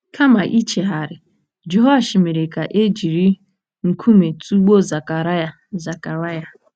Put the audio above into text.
Kama ichegharị, Jehoashi mere ka e jiri nkume tụgbuo Zekaraya. Zekaraya.